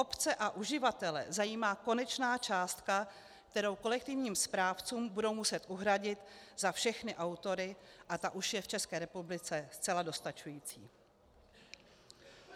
Obce a uživatele zajímá konečná částka, kterou kolektivním správcům budou muset uhradit za všechny autory, a ta už je v České republice zcela dostačující.